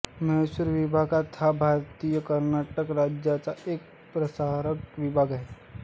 म्हैसूर विभाग हा भारतातील कर्नाटक राज्याचा एक प्रशासकीय विभाग आहे